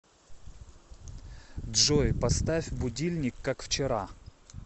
джой поставь будильник как вчера